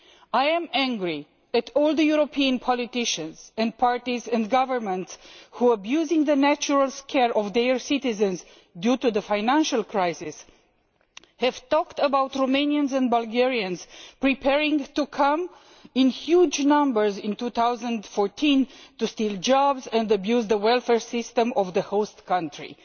I am angry at all the European politicians and parties and governments which, abusing the natural fears of their citizens due to the financial crisis, have talked about Romanians and Bulgarian preparing to come in huge numbers in 2014 to steal jobs and abuse the welfare systems of the host countries.